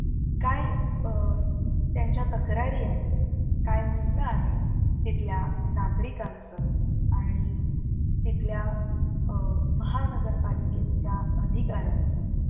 काय अं त्यांच्या तक्रारी आहेत? काय म्हणन आहे? तिथल्या नागरिकांच आणि तिथल्या अं महानगर पालिकेच्या अधिकाऱ्यांचं